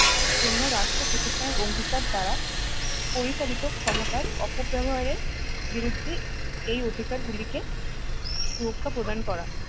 জন্য রাষ্ট্র প্রতিষ্ঠানের অঙ্গীকার দ্বারা পরিচালিত ক্ষমতার অপব্যবহারের বিরুদ্ধে এই অধিকার গুলিকে সুরক্ষা প্রদান করা